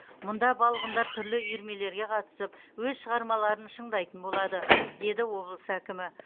мұнда балғындар түрлі үйірмелерге қатысып өз шығармаларын шыңдайтын болады деді облыс әкімі